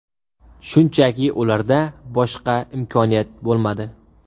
Shunchaki, ularda boshqa imkoniyat bo‘lmadi.